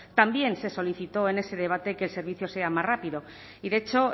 también se solicitó en ese debate que el servicio sea más rápido y de hecho